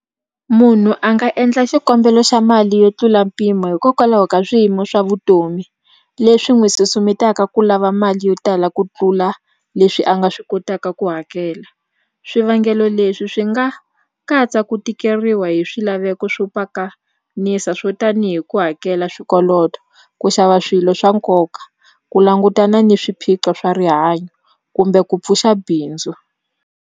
Munhu a nga endla xikombelo xa mali yo tlula mpimo hikokwalaho ka swiyimo swa vutomi leswi n'wi susumetaka ku lava mali yo tala ku tlula leswi a nga swi kotaka ku hakela swivangelo leswi swi nga katsa ku tikeriwa hi swilaveko swo pakanisa swo tanihi ku hakela swikoloto ku xava swilo swa nkoka ku langutana ni swiphiqo swa rihanyo kumbe ku pfuxa bindzu.